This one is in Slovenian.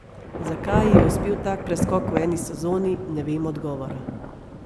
Zakaj ji je uspel tak preskok v eni sezoni, ne vem odgovora.